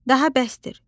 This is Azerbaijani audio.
Daha bəsdir,